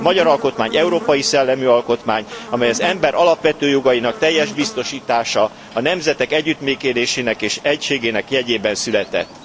A magyar alkotmány európai szellemű alkotmány, amely az ember alapvető jogainak teljes biztosítása, a nemzetek együttműködésének és egységének jegyében született.